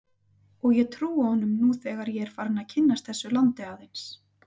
Og ég trúi honum nú þegar ég er farinn að kynnast þessu landi aðeins.